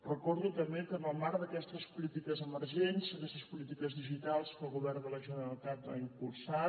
recordo també que en el marc d’aquestes polítiques emergents aquestes polítiques digitals que el govern de la generalitat ha impulsat